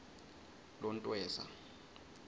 lontweza